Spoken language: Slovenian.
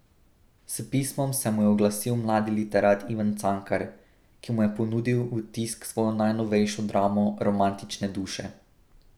S pismom se mu je oglasil mladi literat Ivan Cankar, ki mu je ponudil v tisk svojo najnovejšo dramo Romantične duše.